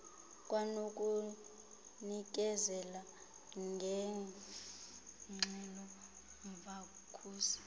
kwanokunikezela ngeengxelo umkhuseli